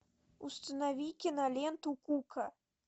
установи киноленту кука